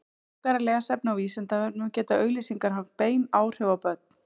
frekara lesefni á vísindavefnum geta auglýsingar haft bein áhrif á börn